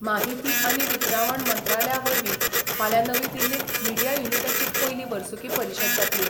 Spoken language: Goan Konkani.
माहिती आनी वितरावण मंत्रालया वरवीं फाल्यां नवी दिल्लींत मिडिया युनिटाची पयली वर्सुकी परिशद जातली.